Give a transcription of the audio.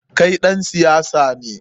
Kai ɗan siyasa ne?